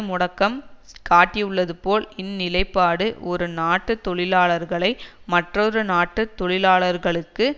முடக்கம் காட்டியுள்ளதுபோல் இந்நிலைப்பாடு ஒரு நாட்டு தொழிலாளர்களை மற்றொரு நாட்டு தொழிலாளர்களுக்கு